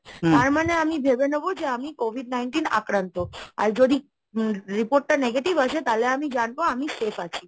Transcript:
তার মানে আমি ভেবে নেব যে আমি COVID Nineteen এ আক্রান্ত আর যদি report টা negative আসে তাহলে আমি জানবো আমি safe আছি।